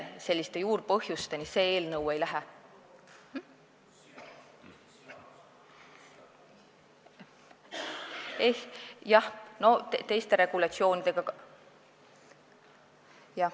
Selliste juurpõhjusteni see eelnõu ei lähe.